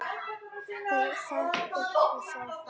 Þau settust í sófann.